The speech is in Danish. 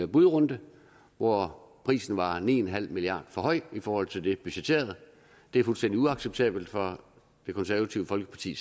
budrunde hvor prisen var ni en halv milliard for høj i forhold til det budgetterede det er fuldstændig uacceptabelt for det konservative folkeparti